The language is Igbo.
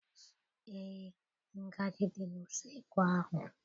Eé, ngaji dị n'useekwu ahụ.